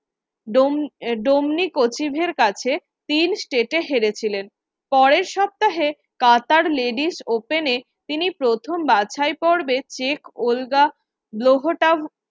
ডোম ডোনি কছিভের কাছে তিন step এ হেরেছিলেন। পরের সপ্তাহে কাতার ladies open এ তিনি প্রথম বাছাইপর্বে